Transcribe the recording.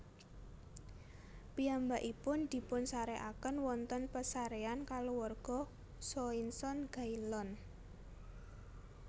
Piyambakipun dipunsarèkaken wonten pesaréan kaluarga Soissons Gaillon